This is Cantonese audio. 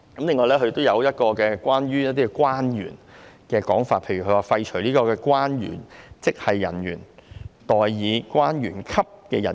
另外還有一個關於關員的用詞，廢除"關員職系人員"，代以"關員級人員"。